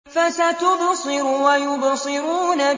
فَسَتُبْصِرُ وَيُبْصِرُونَ